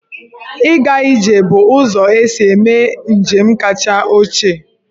Ịga ije bụ ụzọ e si eme njem kacha ochie.